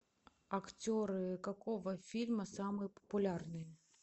актеры какого фильма самые популярные